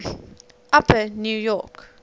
upper new york